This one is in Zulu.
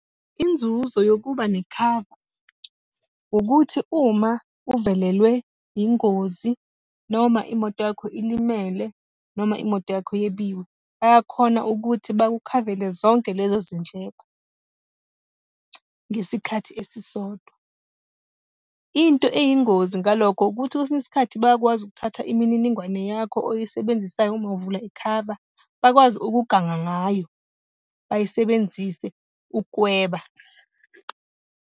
Inzuzo yokuba nekhava, ukuthi uma uvelelwe yingozi noma imoto yakho ilimele, noma imoto yakho yebiwe, bayakhona ukuthi bakukhavele zonke lezo zindleko, ngesikhathi esisodwa. Into eyingozi ngalokho ukuthi, kwesinye isikhathi bayakwazi ukuthatha imininingwane yakho oyisebenzisayo uma uvula ikhava, bakwazi ukuganga ngayo, bayisebenzise ukweba.